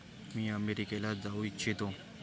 मी अमेरिकेला जाऊ इच्छितो.